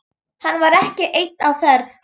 Hann var ekki einn á ferð.